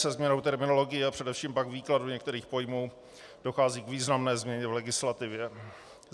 Se změnou terminologie a především pak výkladu některých pojmů dochází k významné změně v legislativě.